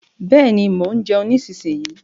Bẹ́ẹ̀ni, mo ń jeun nísinyí.